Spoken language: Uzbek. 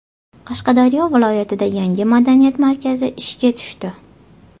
Qashqadaryo viloyatida yangi madaniyat markazi ishga tushdi.